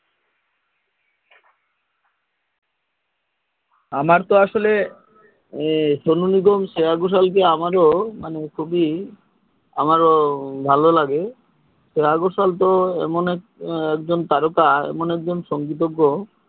আমার তো আসলে সোনু নিগম শ্রেয়া ঘোষাল কে আমার খুবই আমার ভালো লাগে শ্রেয়া ঘোষাল তো এমন এক জন তারকা মানে এক জন সঙ্গীতজ্ঞ হমম